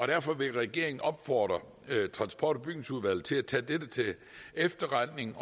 derfor vil regeringen opfordre transport og bygningsudvalget til at tage dette til efterretning